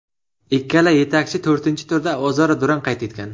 Ikkala yetakchi to‘rtinchi turda o‘zaro durang qayd etgan.